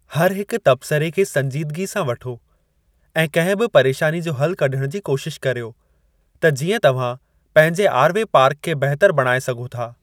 हर हिक तब्सरे खे संजीदगी सां वठो ऐं कंहिं बि परेशानी जो हल कढणु जी कोशिश करियो त जीअं तव्हां पंहिंजे आर वे पार्क खे बहितर बणाए सघो था।